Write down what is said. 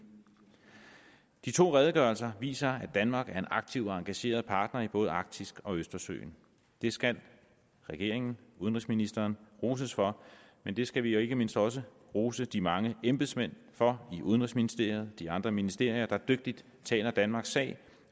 de to redegørelser viser at danmark er en aktiv og engageret partner i både arktis og østersøen det skal regeringen og udenrigsministeren roses for men det skal vi jo ikke mindst også rose de mange embedsmænd for i udenrigsministeriet og de andre ministerier der dygtigt taler danmarks sag